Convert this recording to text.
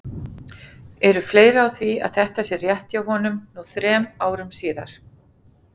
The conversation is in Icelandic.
Eru fleiri á því að þetta sé rétt hjá honum nú þrem árum síðar?